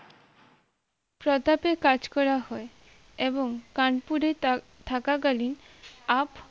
প্রতাপের কাজ করা হয় এবং কানপুরে তা থাকাকালীন up